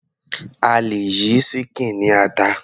A lè yí ṣíkìn ní ata.